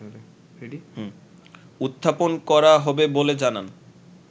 উত্থাপন করা হবে বলে জানান